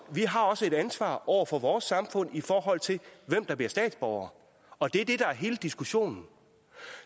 vi har også et ansvar over for vores samfund i forhold til hvem der bliver statsborgere og det er det der er hele diskussionen